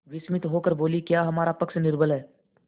विस्मित होकर बोलीक्या हमारा पक्ष निर्बल है